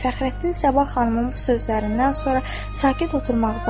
Fəxrəddin Sabah xanımın bu sözlərindən sonra sakit oturmağı bacarmadı.